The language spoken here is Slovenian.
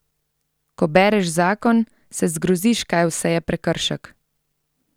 Ko bereš zakon, se zgroziš, kaj vse je prekršek!